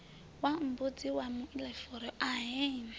wa mbudzi wa muilafuri ahee